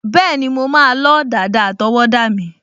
Bẹ́ẹ̀ni, mo máa lọ́ dàda àtọwọ́dá mi